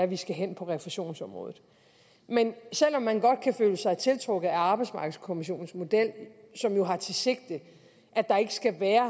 vi skal hen på refusionsområdet men selv om man godt kan føle sig tiltrukket af arbejdsmarkedskommissionens model som jo har det sigte at der ikke skal være